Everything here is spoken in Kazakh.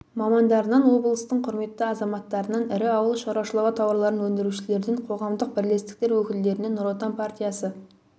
мамандарынан облыстың құрметті азаматтарынан ірі ауыл шаруашылығы тауарларын өндірушілерден қоғамдық бірлестіктер өкілдерінен нұр отан партиясы